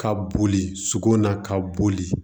Ka boli sogo na ka boli